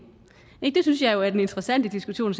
synes jeg er den interessante diskussion